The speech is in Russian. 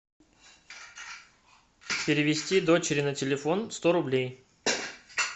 перевести дочери на телефон сто рублей